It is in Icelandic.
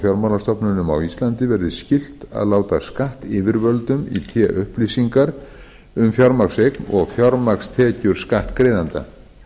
fjármálastofnunum á íslandi verði skylt að láta skattyfirvöldum í té upplýsingar um fjármagnseign og fjármagnstekjur skattgreiðenda